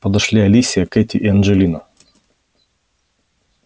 подошли алисия кэти и анджелина